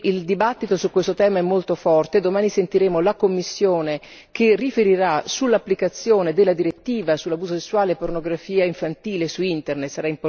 Il dibattito su questo tema è molto forte e domani sentiremo la Commissione che riferirà sull'applicazione della direttiva sull'abuso sessuale e la pornografia infantile su Internet.